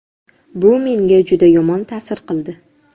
Bu menga juda yomon ta’sir qildi.